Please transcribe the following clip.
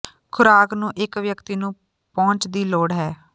ਖ਼ੁਰਾਕ ਨੂੰ ਇੱਕ ਵਿਅਕਤੀ ਨੂੰ ਪਹੁੰਚ ਦੀ ਲੋੜ ਹੈ